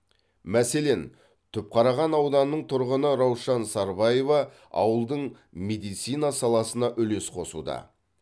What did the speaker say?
мәселен түпқараған ауданының тұрғыны раушан сарбаева ауылдың медицина саласына үлес қосуда